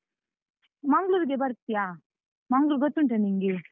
ಮಂಗ್ಳೂರಿಗೆ ಬರ್ತೀಯಾ? ಮಂಗ್ಳೂರ್ ಗೊತ್ತುಂಟಾ ನಿಂಗೆ?